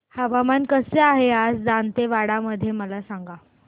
हवामान कसे आहे आज दांतेवाडा मध्ये मला सांगा